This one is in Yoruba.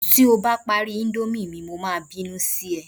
ti o ba pari Indomie mi, mo ma binu Si é